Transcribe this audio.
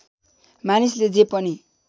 मानिसले जे पनि